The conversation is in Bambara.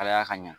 Halaya ka ɲa